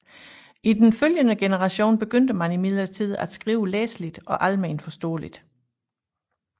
I den følgende generation begyndte man imidlertid at skrive læseligt og almenforståeligt